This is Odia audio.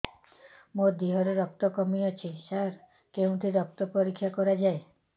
ମୋ ଦିହରେ ରକ୍ତ କମି ଅଛି ସାର କେଉଁଠି ରକ୍ତ ପରୀକ୍ଷା କରାଯାଏ